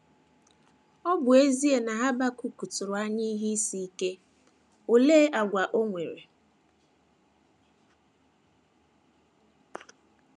Ọ bụ ezie na Habakuk tụrụ anya ihe isi ike, olee àgwà o nwere?